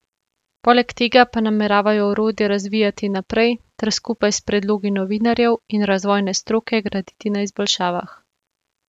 Poleg tega pa nameravajo orodje razvijati naprej ter skupaj s predlogi novinarjev in razvojne stroke graditi na izboljšavah.